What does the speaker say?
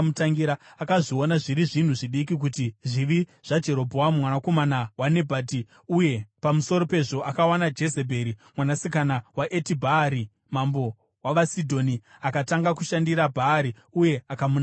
Akazviona zviri zvinhu zvidiki kuita zvivi zvaJerobhoamu mwanakomana waNebhati, uye pamusoro pezvo akawana Jezebheri mwanasikana waEtibhaari mambo wavaSidhoni, akatanga kushandira Bhaari uye akamunamata.